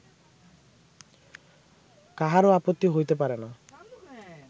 কাহারও আপত্তি হইতে পারে না